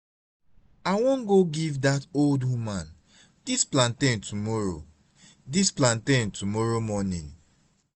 i wan go give dat old woman dis plantain tomorrow dis plantain tomorrow morning